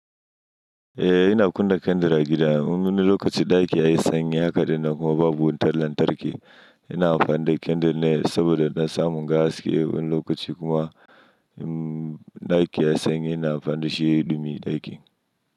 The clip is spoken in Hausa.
Eh ina kunna candle a gida. Wani lokaci ɗaki yayi sanyi haka dai na kuma babu wutar lantarki. Ina amfani da candle ne saboda na samu gas. Wani lokaci kuma ɗaki yayi sanyi ina amfani da shi ya ɗumi ɗakin.